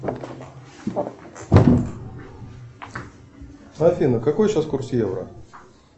афина какой сейчас курс евро